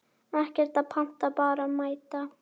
Ekkert að panta, bara mæta!